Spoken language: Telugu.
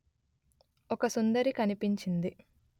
ఒక సుందరి కనిపించింది